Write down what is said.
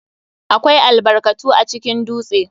AKWAI albarkatu acikin dutse.